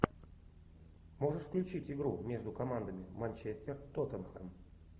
можешь включить игру между командами манчестер тоттенхэм